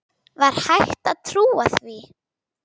Var hægt að trúa því?